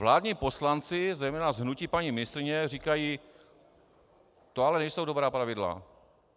Vládní poslanci, zejména z hnutí paní ministryně, říkají: to ale nejsou dobrá pravidla.